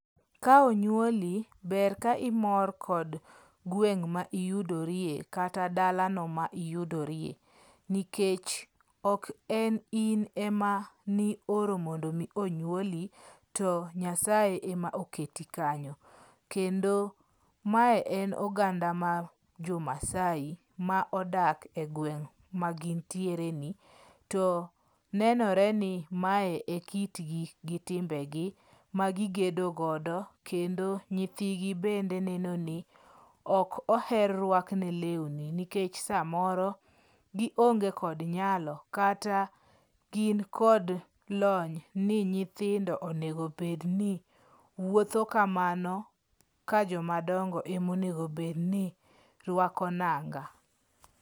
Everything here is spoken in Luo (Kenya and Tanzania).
Ka onyuoli, ber ka imor kod gweng' ma iyudorie kata dalano ma iyudoriye. Nikech ok en in ema nioro mondo mi onyuoli, to Nyasaye ema oketi kanyo. Kendo mae en oganda mar jo Maasai ma odak e gweng' ma gintiereni. To nenore ni mae e kitgi gi timbegi ma gigedo godo kendo nyithigi bende neno ni ok oher rwakne lewni nikech samoro gionge kod nyalo kata gin kod lony ni nyithindo onego bedni wuotho kamano ka jomadongo ema onego bedni rwako nanga.